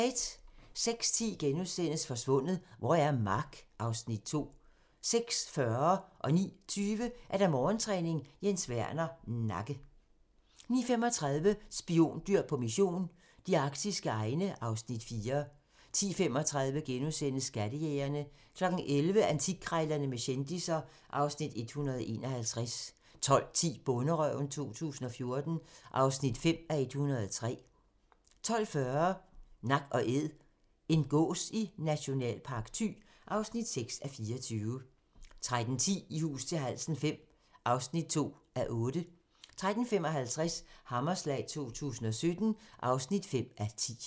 06:10: Forsvundet - hvor er Mark? (Afs. 2)* 06:40: Morgentræning: Jens Werner - nakke 09:20: Morgentræning: Jens Werner - nakke 09:35: Spiondyr på mission - de arktiske egne (Afs. 4) 10:35: Skattejægerne * 11:00: Antikkrejlerne med kendisser (Afs. 151) 12:10: Bonderøven 2014 (5:103) 12:40: Nak & Æd - en gås i Nationalpark Thy (6:24) 13:10: I hus til halsen V (2:8) 13:55: Hammerslag 2017 (5:10)